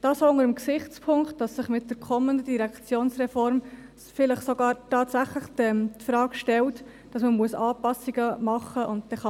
Dies unter dem Gesichtspunkt, dass sich mit der kommenden Direktionsreform vielleicht tatsächlich die Frage nach Anpassungen stellen wird.